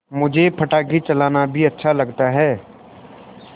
मुझे पटाखे चलाना भी अच्छा लगता है